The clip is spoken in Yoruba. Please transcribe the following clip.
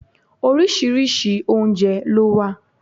Oríṣiríṣi oúnjẹ ló wà